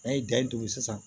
N'an ye danni turu sisan